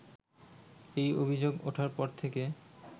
এই অভিযোগ ওঠার পর থেকে